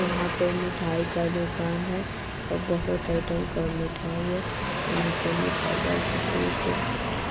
यहाँ पे मिठाई का दुकान है और बहुत आइटम का मिठाई है| और नीचे मिठाई का फोटो - ओटू